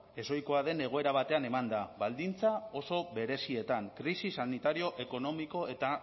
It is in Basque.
ezohikoa den egoera batean emanda baldintza oso berezietan krisi sanitario ekonomiko eta